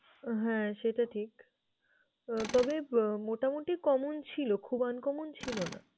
হ্যাঁ, সেটা ঠিক তবে মোটামুটি common ছিল, খুব uncommon ছিল না।